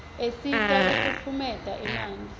asita kufutfumietia emanti